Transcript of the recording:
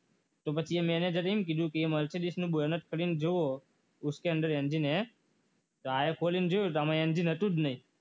એને તો પછી મેનેજર એમ કીધું કે mercedes ખોલીને જુઓ ઉસકે અંદર એન્જિન હૈ તો આને ખોલીને જોયું તો કે આની અંદર એન્જિન હતું જ નહીં